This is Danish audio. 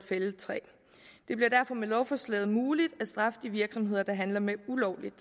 fældet træ det bliver derfor med lovforslaget muligt at straffe de virksomheder der handler med ulovligt